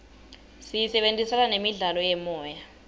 siyisebentisela nemidlalo yemoya